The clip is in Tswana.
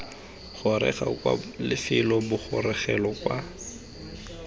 goroga kwa lefelo bogorogelo kwa